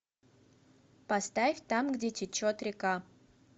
поставь там где течет река